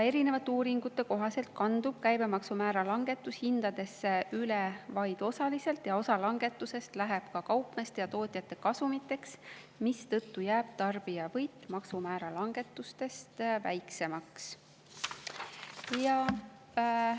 Erinevate uuringute kohaselt kandub käibemaksumäära langetus hindadesse üle vaid osaliselt, osa langetusest läheb kaupmeeste ja tootjate kasumiteks, mistõttu jääb tarbija võit maksumäära langetusest väiksemaks.